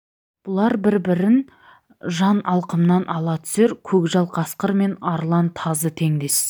бұлар бір-бірін жан алқымнан ала түсер көкжал қасқыр мен арлан тазы теңдес